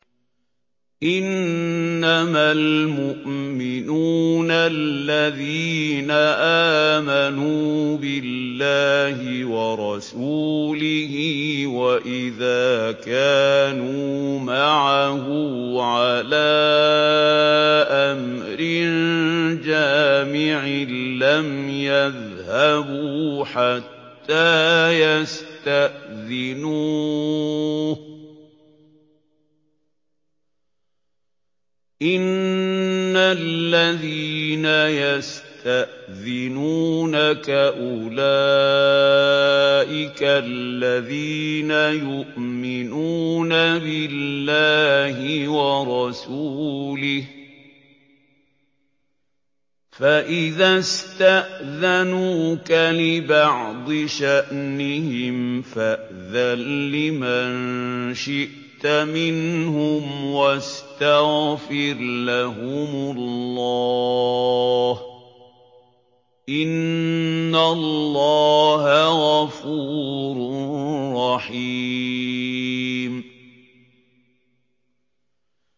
إِنَّمَا الْمُؤْمِنُونَ الَّذِينَ آمَنُوا بِاللَّهِ وَرَسُولِهِ وَإِذَا كَانُوا مَعَهُ عَلَىٰ أَمْرٍ جَامِعٍ لَّمْ يَذْهَبُوا حَتَّىٰ يَسْتَأْذِنُوهُ ۚ إِنَّ الَّذِينَ يَسْتَأْذِنُونَكَ أُولَٰئِكَ الَّذِينَ يُؤْمِنُونَ بِاللَّهِ وَرَسُولِهِ ۚ فَإِذَا اسْتَأْذَنُوكَ لِبَعْضِ شَأْنِهِمْ فَأْذَن لِّمَن شِئْتَ مِنْهُمْ وَاسْتَغْفِرْ لَهُمُ اللَّهَ ۚ إِنَّ اللَّهَ غَفُورٌ رَّحِيمٌ